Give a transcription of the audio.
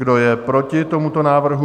Kdo je proti tomuto návrhu?